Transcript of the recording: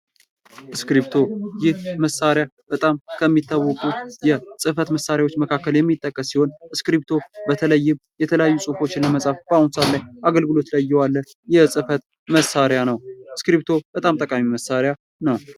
እስክርቢቶ ይህ መሳሪያ በጣም ከሚታወቁ የጽህፈት መሳሪያዎች ዉስጥ የሚጠቀስ ሲሆን፤ እስክርቢቶ በተለይም የተለያዩ ጽሁፎችን ለመጻፍ በአሁን ሰአት ላይ አገልግሎት ላይ የዋለ የጽህፈት መሳሪያ ነው። እስክርቢቶ በጣም ጠቃሚ መሳሪያ ነው።